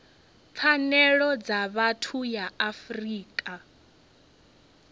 pfanelo dza vhathu ya afrika